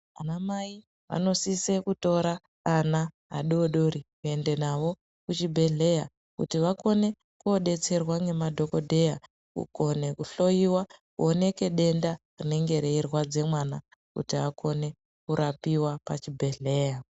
Anamai vanosise kutore ana adoodori kuende nawo kuchibhedhleya kuti vakone kodetserwa ngemadhokodheya, kukone kuhloyiwa kuoneke denda rinenge reirwadze mwana kuti akone kurapiwa pachibhedhleya.